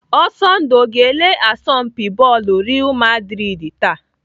Ọsọndụ ọ ga-ele asọmpi bọọlụ Real maldrid taa?.